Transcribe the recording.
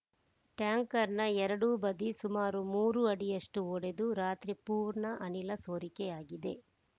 ಟ್ಯಾಂಕರ್‌ನ ಎರಡೂ ಬದಿ ಸುಮಾರು ಮೂರು ಅಡಿಯಷ್ಟುಒಡೆದು ರಾತ್ರಿಪೂರ್ಣ ಅನಿಲ ಸೊರಿಕೆಯಾಗಿದೆ